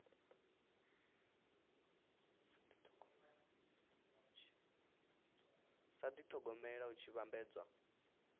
sa dithogomela hu tshi vhambedzwa